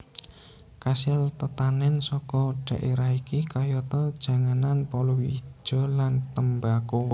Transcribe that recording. Kasil tetanèn saka dhaérah iki kayata janganan palawija lan tembako